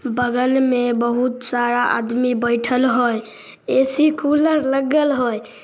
बगल में बहुत सारा आदमी बइठल है। ए.सी. कूलर लगल हई।